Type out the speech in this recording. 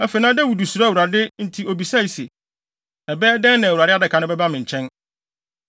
Afei, na Dawid suro Awurade nti obisaa se, “Ɛbɛyɛ dɛn na Awurade adaka no bɛba me nkyɛn?”